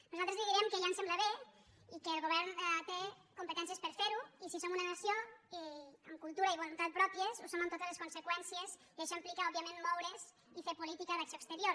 nosaltres li direm que ja ens sembla bé i que el govern té competències per ferho i si som una nació amb cultura i voluntat pròpies ho som amb totes les conseqüències i això implica òbviament moure’s i fer política d’acció exterior